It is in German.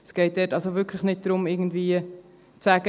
Es geht dort also wirklich nicht darum, zu sagen: